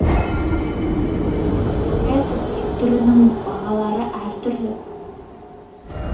мұндай қызмет түрінің бағалары әр түрлі